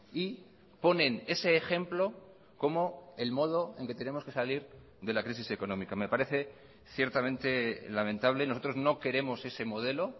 y ponen ese ejemplo como el modo en que tenemos que salir de la crisis económica me parece ciertamente lamentable nosotros no queremos ese modelo